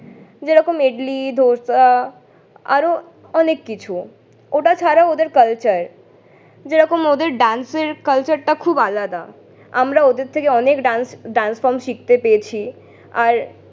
যেরকম ইডলি, ধোসা আরও অনেক কিছু। ওটা ছাড়াও ওদের culture । যেরকম ওদের dance এর culture টা খুব আলাদা, আমরা ওদের থেকে অনেক dance dance form শিখতে পেয়েছি। আর